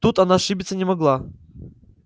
тут она ошибиться не могла